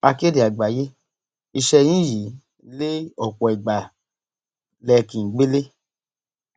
akéde àgbáyé iṣẹ yín yìí lé ọpọ ìgbà lẹ ẹ kí n gbélé